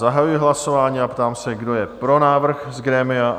Zahajuji hlasování a ptám se, kdo je pro návrh z grémia?